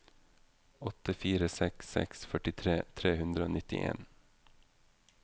åtte fire seks seks førtitre tre hundre og nittien